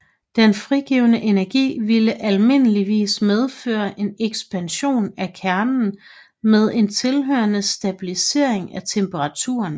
Den frigivne energi ville almindeligvis medføre en ekspansion af kernen med en tilhørende stabilisering af temperaturen